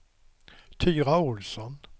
Tyra Ohlsson